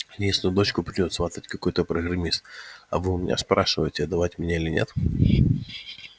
единственную дочку придёт сватать какой-то программист а вы у меня спрашиваете отдавать меня или нет